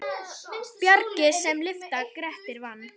Bjarg sem lyfta Grettir vann.